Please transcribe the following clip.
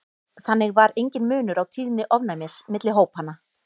þannig var enginn munur á tíðni ofnæmis milli hópanna